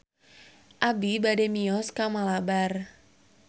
Abi bade mios ka Malabar